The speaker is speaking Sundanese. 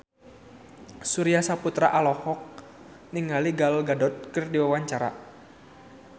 Surya Saputra olohok ningali Gal Gadot keur diwawancara